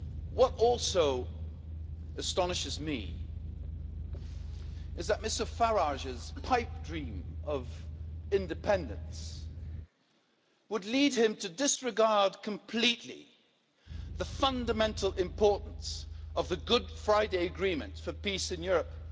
What also astonishes me is that Mr Farage's pipe dream of independence would lead him to disregard completely the fundamental importance of the Good Friday Agreement for peace in Europe.